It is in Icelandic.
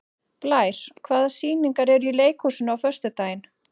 Blær, hvaða sýningar eru í leikhúsinu á föstudaginn?